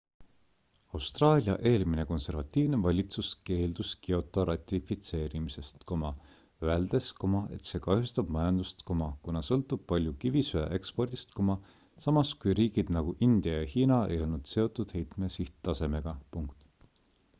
austraalia eelmine konservatiivne valitsus keeldus kyoto ratifitseerimisest öeldes et see kahjustab majandust kuna sõltub palju kivisöe ekspordist samas kui riigid nagu india ja hiina ei olnud seotud heitme sihttasemega